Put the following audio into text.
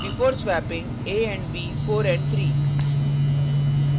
before swapping a and b 4 and 3